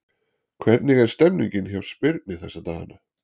Hvernig er stemmningin hjá Spyrni þessa dagana?